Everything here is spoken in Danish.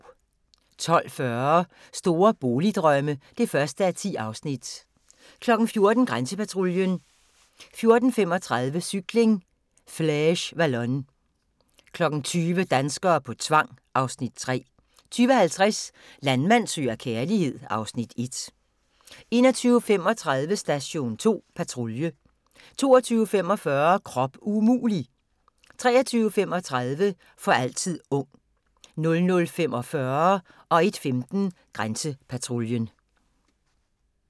12:40: Store boligdrømme (1:10) 14:00: Grænsepatruljen 14:35: Cykling: Flèche Wallonne 20:00: Danskere på tvang (Afs. 3) 20:50: Landmand søger kærlighed (Afs. 1) 21:35: Station 2 Patrulje 22:45: Krop umulig! 23:35: For altid ung 00:45: Grænsepatruljen 01:15: Grænsepatruljen